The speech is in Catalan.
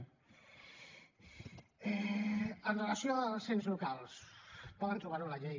amb relació als ens locals poden trobar ho a la llei